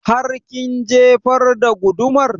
Har kin jefar da gudumar?